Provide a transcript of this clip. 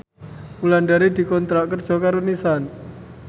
Wulandari dikontrak kerja karo Nissan